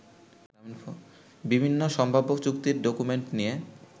বিভিন্ন সম্ভাব্য চুক্তির ডকুমেন্ট নিয়ে